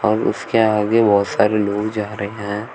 और उसके आगे बहोत सारे लोग जा रहे हैं।